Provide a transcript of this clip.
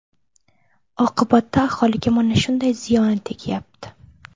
Oqibatda aholiga mana shunday ziyoni tegyapti.